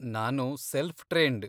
ನಾನು self trained.